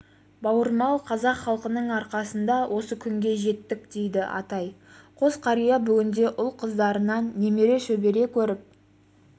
бауырмал қазақ халқының арқасында осы күнге жеттік дейді атай қос қария бүгінде ұл-қыздарынан немере шөбере көріп